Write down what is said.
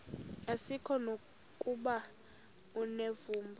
asikuko nokuba unevumba